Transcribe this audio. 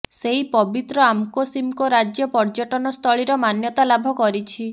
ସେଇ ପବିତ୍ର ଆମକୋ ସିମକୋ ରାଜ୍ୟ ପର୍ଯ୍ୟଟନ ସ୍ଥଳୀର ମାନ୍ୟତା ଲାଭ କରିଛି